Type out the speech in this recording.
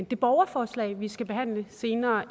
det borgerforslag vi skal behandle lidt senere